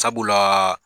Sabula